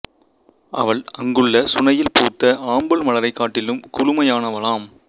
அவள் அங்குள்ள சுனையில் பூத்த ஆம்பல் மலரைக் காட்டிலும் குளுமையானவளாம்